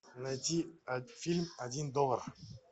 найти фильм один доллар